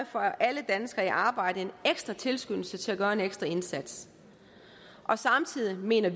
får alle danskere i arbejde en ekstra tilskyndelse til at gøre en ekstra indsats og samtidig mener